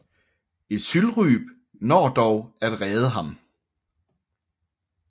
Ezylryb når dog at redde ham